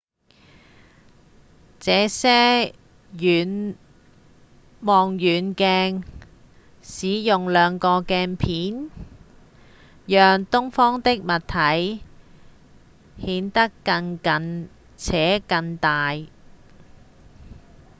這些望遠鏡使用兩個鏡片讓遠方的物體顯得更近且更大